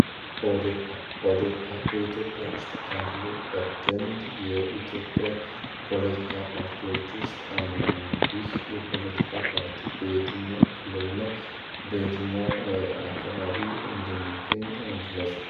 ኦዴፓ በኢትዮጵያ ውስጥ ካርሉ ቀደምት የኢትዮጵያ ፖለቲካ ፓርቲዎች ውስጥ አንድኛ ነው። ቢህ የፖለቲካ ፓርቲ ቤትኛው ክልል እና በትኛው አካባቢ እንዲሚገኝ ግለጹ?